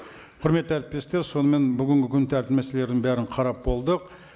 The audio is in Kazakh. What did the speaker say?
құрметті әріптестер сонымен бүгінгі күн тәртібі мәселелерін бәрін қарап болдық